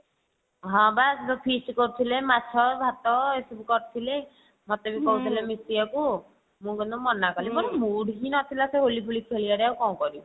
ହଁ ବା ଯଉ feast କରୁଥିଲେ ମାଛ ଭାତ ଏସବୁ କରିଥିଲେ ମୋତେ ବି କହିଥିଲେ ମିଶିବାକୁ ମୁଁ କିନ୍ତୁ ମନା କଲି ମୋର ମୁଡ ହିଁ ନଥିଲା ସେ ହୋଲି ଫୋଲି ଖେଳିବାକୁ କଣ କରିବି।